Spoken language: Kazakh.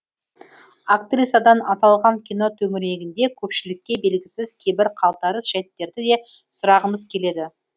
актрисадан аталған кино төңірегінде көпшілікке белгісіз кейбір қалтарыс жәйттерді де сұрағымыз келеді